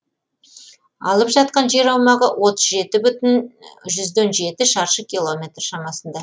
алып жатқан жер аумағы отыз жеті бүтін жүзден жеті шаршы километр шамасында